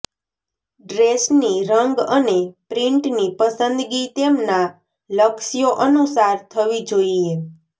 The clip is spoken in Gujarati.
ડ્રેસની રંગ અને પ્રિન્ટની પસંદગી તેમના લક્ષ્યો અનુસાર થવી જોઈએ